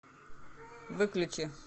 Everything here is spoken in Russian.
выключи